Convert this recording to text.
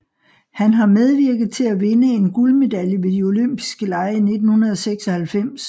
Han har medvirket til at vinde en guldmedalje ved De olympiske lege i 1996